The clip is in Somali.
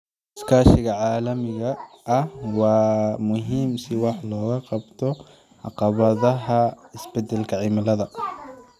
Iskaashiga caalamiga ah waa muhiim si wax looga qabto caqabadaha isbeddelka cimilada.